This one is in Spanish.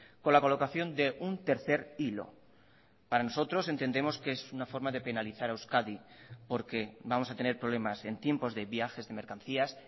con la colocación de un tercer hilo para nosotros entendemos que es una forma de penalizar a euskadi porque vamos a tener problemas en tiempos de viajes de mercancías